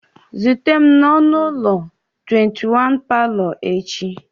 Zute m n'ọnụ ụlọ 21, Pablo echi!